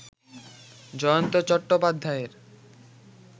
জয়ন্ত চট্টোপাধ্যায়ের